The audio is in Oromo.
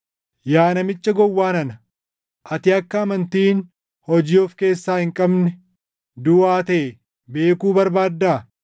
Yaa namicha gowwaa nana, ati akka amantiin hojii of keessaa hin qabne duʼaa taʼe beekuu barbaaddaa?